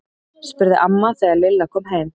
spurði amma þegar Lilla kom heim.